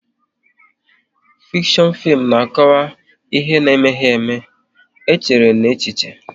Fikshon fim na akọwa ihe na emeghị ème, e chere n'echiche